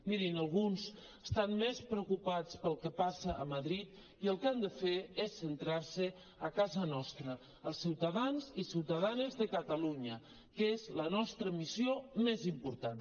mirin alguns estan més preocupats pel que passa a madrid i el que han de fer és centrar·se a casa nostra als ciutadans i ciutadanes de catalunya que és la nostra missió més important